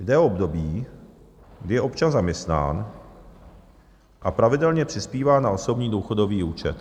Jde o období, kdy je občan zaměstnán a pravidelně přispívá na osobní důchodový účet.